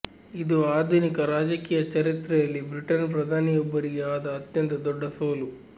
ಇದು ಆಧುನಿಕ ರಾಜಕೀಯ ಚರಿತ್ರೆಯಲ್ಲಿ ಬ್ರಿಟನ್ ಪ್ರಧಾನಿಯೊಬ್ಬರಿಗೆ ಆದ ಅತ್ಯಂತ ದೊಡ್ಡ ಸೋಲು